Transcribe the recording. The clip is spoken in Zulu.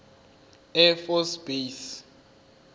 air force base